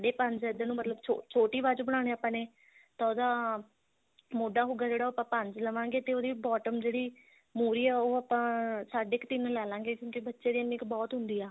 ਸਾਡੇ ਪੰਜ ਹੈ ਇਧਰ ਨੂੰ ਮਤਲਬ ਛੋਟੀ ਬਾਜੂ ਬਣਾਨੀ ਆ ਆਪਾਂ ਨੇ ਤਾਂ ਉਹਦਾ ਮੋਢਾ ਹੋਊਗਾ ਜਿਹੜਾ ਉਹ ਆਪਾਂ ਪੰਜ ਲਵਾਂਗੇ ਤੇ ਉਹਦੀ bottom ਜਿਹੜੀ ਮੂਹਰੀ ਆ ਉਹ ਆਪਾਂ ਸਾਡੇ ਕ ਤਿੰਨ ਲੈ ਲਾਂਗੇ ਕਿਉਂਕਿ ਬੱਚੇ ਦੀ ਇੰਨੀ ਕਿ ਬਹੁਤ ਹੁੰਦੀ ਆ